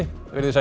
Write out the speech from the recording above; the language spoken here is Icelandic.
veriði sæl